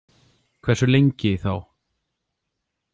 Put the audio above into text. Hversu lengi, þá?